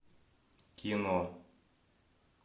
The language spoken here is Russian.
кино